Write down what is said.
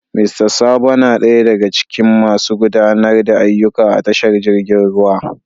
Mista Sabo na daya daga cikin masu gudanar da ayyuka a tashar jirgi ruwan.